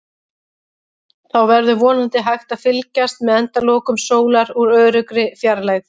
Þá verður vonandi hægt að fylgjast með endalokum sólar úr öruggri fjarlægð.